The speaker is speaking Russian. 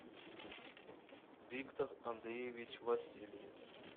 виктор андреевич васильев